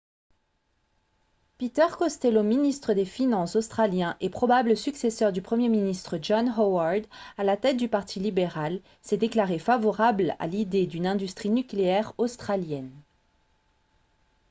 peter costello ministre des finances australien et probable successeur du premier ministre john howard à la tête du parti libéral s'est déclaré favorable à l'idée d'une industrie nucléaire australienne